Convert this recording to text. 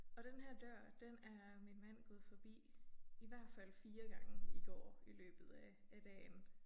Og denne her dør den er min mand gået forbi i hvert fald 4 gange i går i løbet af af dagen